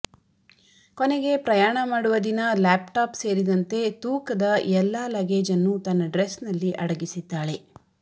ಕೊನೆಗೆ ಪ್ರಯಾಣ ಮಾಡುವ ದಿನ ಲ್ಯಾಪ್ಟಾಪ್ ಸೇರಿದಂತೆ ತೂಕದ ಎಲ್ಲಾ ಲಗೇಜ್ ಅನ್ನು ತನ್ನ ಡ್ರೆಸ್ನಲ್ಲಿ ಅಡಗಿಸಿದ್ದಾಳೆ